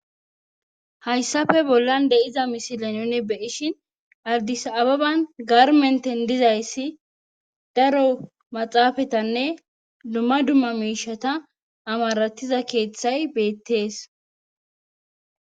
hayssafe bollan de7iza misilanone beyishin ardis ababan garmenten dizayssi daro maxaafatanne dumma dumma miishata amaratiza keeththay beettees